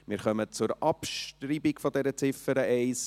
Wir kommen zur Abschreibung von Ziffer 1.